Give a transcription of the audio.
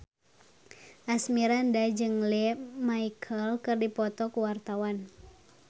Asmirandah jeung Lea Michele keur dipoto ku wartawan